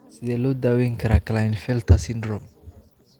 Sidee loo daweyn karaa Klinefelter syndrome?